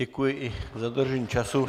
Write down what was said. Děkuji i za dodržení času.